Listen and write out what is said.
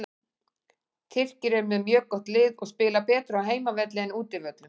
Tyrkir eru með mjög gott lið og spila betur á heimavelli en útivöllum.